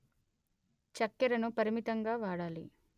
చక్కెరను పరమితంగా వాడాలి